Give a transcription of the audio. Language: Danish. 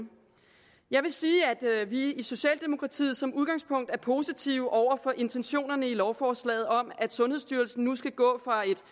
jeg vil sige at vi i socialdemokratiet som udgangspunkt er positive over for intentionerne i lovforslaget om at sundhedsstyrelsen nu skal gå